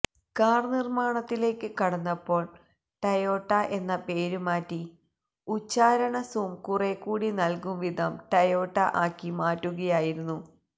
കാര് നിര്മ്മാണത്തിലേക്ക് കടന്നപ്പോള് ടെയോഡ എന്ന പേരുമാറ്റി ഉച്ചാരണ സും കുറെക്കൂടി നല്കുംവിധം ടെയോട്ട ആക്കി മാറ്റുകയായിരുന്നു